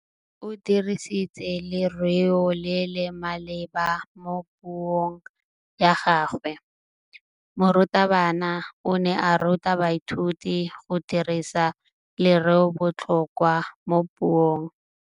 O dirisitse lerêo le le maleba mo puông ya gagwe. Morutabana o ne a ruta baithuti go dirisa lêrêôbotlhôkwa mo puong.